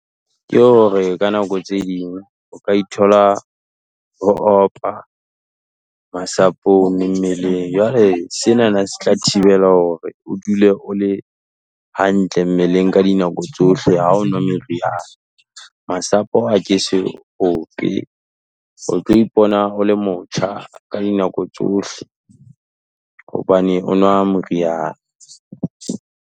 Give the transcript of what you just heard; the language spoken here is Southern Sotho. Ke hore ka nako tse ding o ka ithola o opa masapong mmeleng, jwale senana se tla thibela hore o dule o le hantle mmeleng ka di dinako tsohle, ha o nwa meriana, masapo a ke se ope, o tlo ipona o le motjha ka dinako tsohle, hobane o nwa moriana.